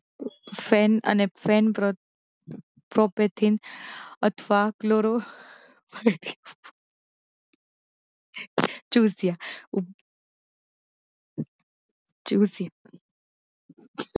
fan અને ફેનક્રત પ્રોપેચીન અથવા ક્લોરો ચૂસિયાં ચ્યુસ